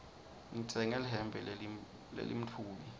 ngitsenge lihembe lelimtfubi